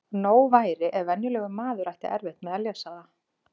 Nóg væri ef venjulegur maður ætti erfitt með að lesa það.